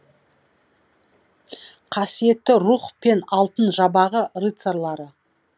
қасиетті руһ пен алтын жабағы рыцарлары